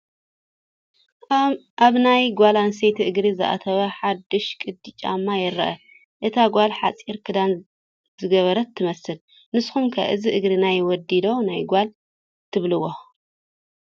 ኣብ ናይ ጓል ኣነስተይቲ እግሪ ዝኣተወ ሓዱሽ ቅዲ ጫማ ይረአ፡፡ እታ ጓል ሓፂር ክዳን ዝገበረት ትመስል፡፡ ንስኹም ከ እዚ እግሪ ናይ ወዲ ዶ ናይ ጓል ትብልዎ?